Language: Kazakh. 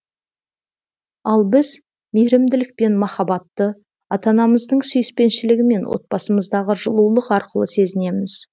ал біз мейірімділік пен махаббатты ата анамыздың сүйіспеншілігімен отбасымыздағы жылулық арқылы сезінеміз